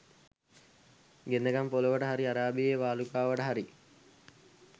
ගෙන්දගම් පොළොවට හරි අරාබියේ වාලුකාවට හරි